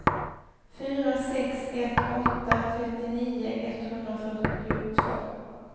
fyra sex ett åtta trettionio etthundrafyrtiotvå